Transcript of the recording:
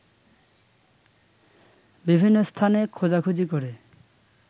বিভিন্ন স্থানে খোঁজাখুজি করে